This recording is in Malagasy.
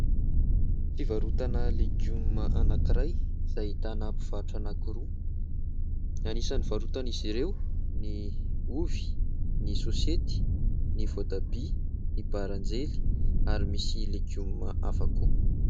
Fivarotana legioma anankiray, izay ahitana mpivarotra anankiroa. Anisan'ny varotan'izy ireo ny ovy, ny sôsety, ny voatabia, ny baranjely, ary misy legioma hafa koa.